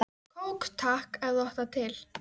Kók takk, ef þú átt það til!